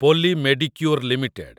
ପୋଲି Medicure limited